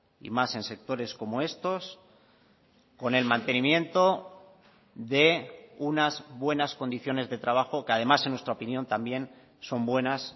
y más en sectores como estos con el mantenimiento de unas buenas condiciones de trabajo que además en nuestra opinión también son buenas